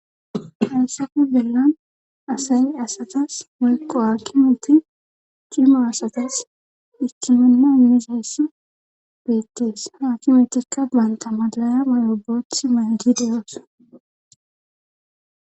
Halsafe bellan asayi asatas mulqo aakimuti cima asatas ikkimana miseyssa beettees haakimetikka baanta malaya mayoboth maygideyoos.